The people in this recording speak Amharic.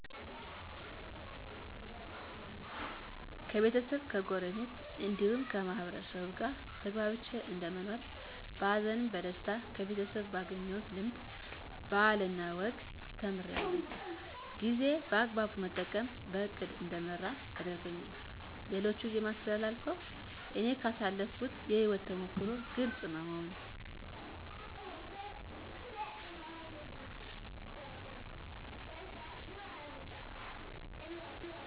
ከቤተሰብ ከጎረቤት እንዲሁም ከማህበረሰቡ ጋር ተግባብቼ እንደምኖር በሀዘንም በደስታ ከቤተሰብ ባገኘሁት ልምድ ባህልና ወግን ተምራለሁ ጊዜ በአግባቡ መጠቀም በእቅድ እንድመራ ያደርገኛል ለሌሎች የማስተላልፈው እኔ ካሳለፍኩት የህይወት ተሞክሮ ግልፅ በመሆን